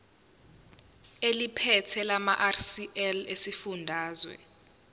eliphethe lamarcl esifundazwe